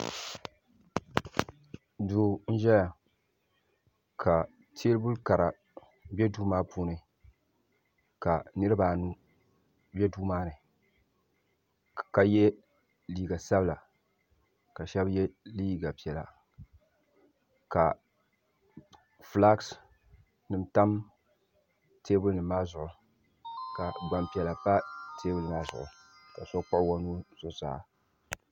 Duu n-ʒeya ka teebuli Kara be duu maa puuni ka niriba anu be duu maa ni ka ye liiga sabila ka shɛba ye liiga piɛla ka fulaaki ka gbampiɛla pa teebuli maa zuɣu.